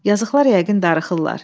Yazıqlar yəqin darıxırlar.